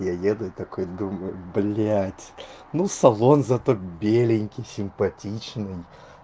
я еду такой думаю блять ну салон зато беленький симпатичный